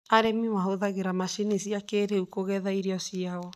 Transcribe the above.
Arĩmi mahũthagĩra macini cia kĩĩrĩu kũgetha irio ciao.